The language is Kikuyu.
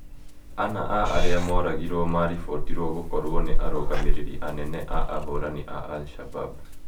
Ana a arĩa moragirwo maribotirwo gũkorũo nĩ arũgamĩrĩri anene a ahũrani a Al-Shabab.